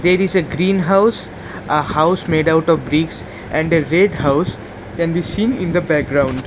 There is a greenhouse a house made out of bricks and red house can be seen in the background .